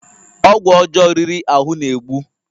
Ọgwụ ọjọọ riri ahụ na-egbu